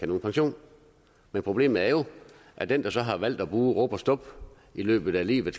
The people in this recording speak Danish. nogen pension men problemet er jo at dem der har valgt at bruge rub og stub i løbet af livet